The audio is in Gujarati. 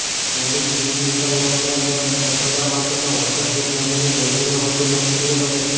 પોલીવિનીલક્લોરાઇડમાંથી રસોડા માટેનો વોટરપ્રૂફ લેમિનેટ વધુને વધુ લોકપ્રિય બને છે